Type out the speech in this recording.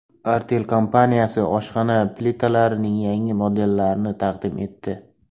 Artel kompaniyasi oshxona plitalarining yangi modellarini taqdim etdi.